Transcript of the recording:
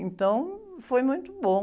Então, foi muito bom.